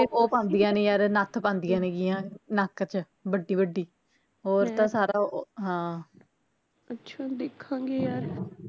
ਉਹ ਪਾਉਂਦੀਆ ਨੇ ਯਰ ਨੱਥ ਪਾਉਂਦੀਆ ਨੇ ਗੀਆ ਨੱਕ ਚ ਵੱਡੀ ਵੱਡੀ ਹੋਰ ਤਾਂ ਸਾਰਾ ਓਹ ਹਾਂ